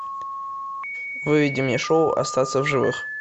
выведи мне шоу остаться в живых